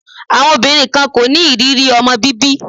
Àwọn obìnrin kan kò ní ní ìrírí ọmọ bíbí.